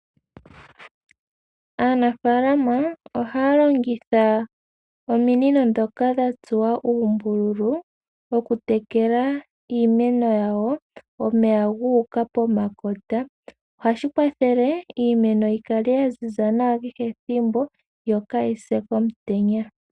Aanafalama ohaya longitha ominino ndhoka dha tsuwa uumbululu okutekela iimeno yawo omeya guuka pomakota ohashi kwathele iimeno yikale ya ziza nawa kehe ethimbo yo kaayise komutenya.